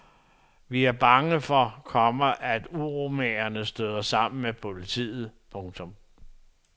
Vi er bange for, komma at uromagerne støder sammen med politiet. punktum